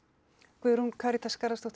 Guðrún Karítas Garðarsdóttir